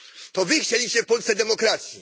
To Wy chcieliście w Polsce demokracji.